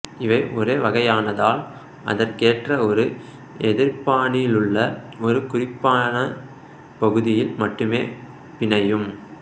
இவை ஒரே வகையானதால் அதற்கேற்ற ஒரு எதிர்ப்பானிலுள்ள ஒரு குறிப்பான பகுதியில் மட்டுமே பிணையும்